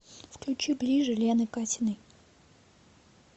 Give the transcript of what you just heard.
включи ближе лены катиной